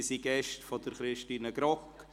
Sie sind Gäste von Christine Grogg.